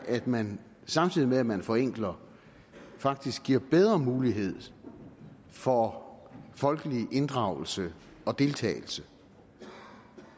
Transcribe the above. at man samtidig med at man forenkler faktisk giver bedre mulighed for folkelig inddragelse og deltagelse